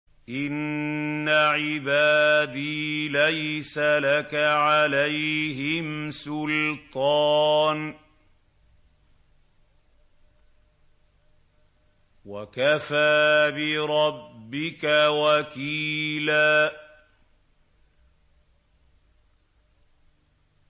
إِنَّ عِبَادِي لَيْسَ لَكَ عَلَيْهِمْ سُلْطَانٌ ۚ وَكَفَىٰ بِرَبِّكَ وَكِيلًا